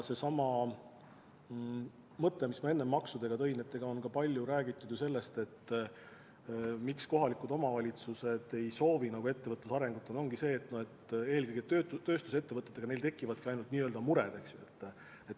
Seesama mõte, mille ma enne maksudele viidates tõin: on ju palju räägitud, et põhjus, miks kohalikud omavalitsused eriti ei soovi ettevõtluse arengut, ongi see, et eelkõige tööstusettevõtetega neil tekivad igasugused mured.